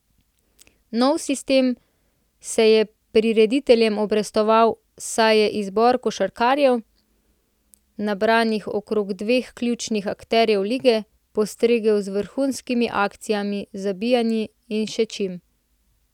Nov sistem se je prirediteljem obrestoval, saj je izbor košarkarjev, nabranih okrog dveh ključnih akterjev lige, postregel z vrhunskimi akcijami, zabijanji in še čim.